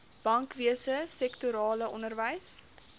bankwese sektorale onderwys